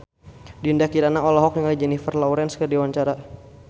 Dinda Kirana olohok ningali Jennifer Lawrence keur diwawancara